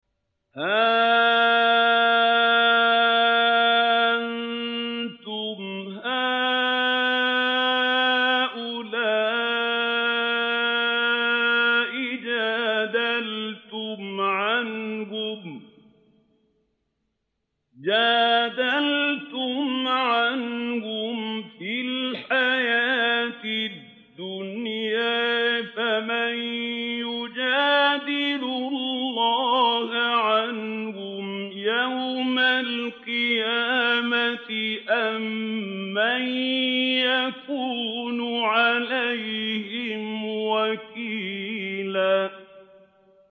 هَا أَنتُمْ هَٰؤُلَاءِ جَادَلْتُمْ عَنْهُمْ فِي الْحَيَاةِ الدُّنْيَا فَمَن يُجَادِلُ اللَّهَ عَنْهُمْ يَوْمَ الْقِيَامَةِ أَم مَّن يَكُونُ عَلَيْهِمْ وَكِيلًا